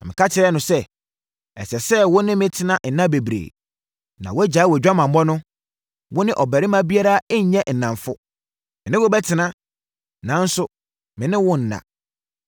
Na meka kyerɛɛ no sɛ, “Ɛsɛ sɛ wo ne me tena nna bebree, na wogyae wʼadwamammɔ no; wo ne ɔbarima biara nnyɛ nnamfo. Me ne wo bɛtena, nanso me ne wonna.”